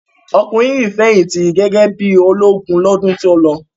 Ọkùnrin yìí fẹ̀yìntì gẹ́gẹ́ bí i ológun lọ́dún tó lọ.